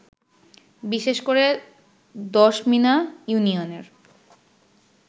বিশেষ করে দশমিনা ইউনিয়নের